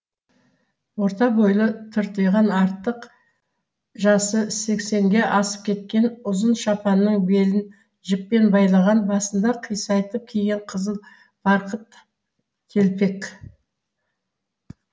орта бойлы тыртиған артық жасы сексенге асып кеткен ұзын шапанның белін жіппен байлаған басында қисайтып киген қызыл барқыт телпек